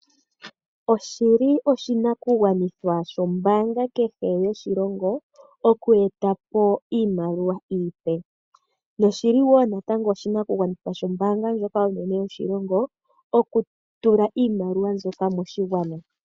Oshi li oshinakugwanithwa shombaanga kehe yoshilongo okueta po iimaliwa iipe. Oshi li wo natango oshinakugwanithwa shombaanga ndjoka onene yoshilongo okutula iimaliwa mbyoka moshigwana.